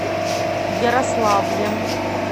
ярославлем